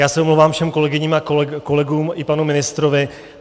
Já se omlouvám všem kolegyním a kolegům i panu ministrovi.